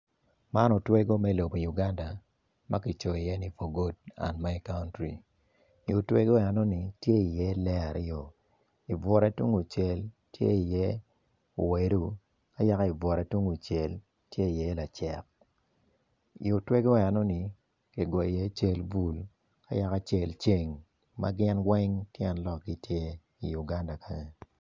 Man otwego me lobo Uganda ma ki coyo i ye ni for god and my country i otwego meno tye iye lee aryo